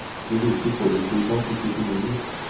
Det virker forutsigbart, ikke finurlig.